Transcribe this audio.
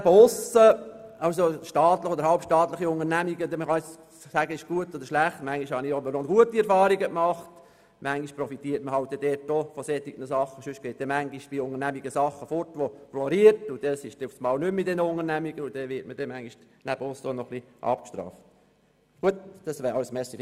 Ob staatliche oder halbstaatliche Unternehmungen – man kann sagen, diese seien gut oder schlecht –, manchmal habe ich gute Erfahrungen gemacht und manchmal profitiert man von solchen Sachen, weil sonst bei Unternehmungen Sachen weggehen und man abgestraft wird.